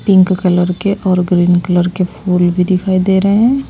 Pink colour के और green colour के फूल भी दिखाई दे रहे हैं।